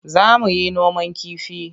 Za mu yi noman kifi.